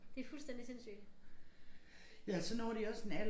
Det fuldstændig sindssygt